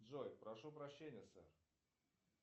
джой прошу прощения сэр